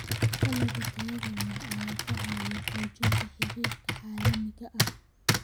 Dalagga tayada leh ayaa ka caawiya xoojinta xiriirka caalamiga ah.